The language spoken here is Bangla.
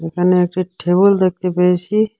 এখানে একটি টেবিল দেখতে পেয়েছি।